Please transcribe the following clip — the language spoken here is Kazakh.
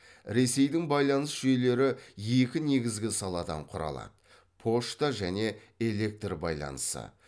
ресейдің байланыс жүйелері екі негізгі саладан құралады пошта және электр байланысы